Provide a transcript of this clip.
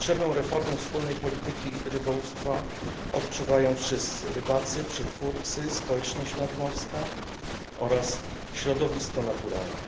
Potrzebę reformy wspólnej polityki rybołówstwa odczuwają wszyscy rybacy, przetwórcy, społeczność nadmorska oraz środowisko naturalne.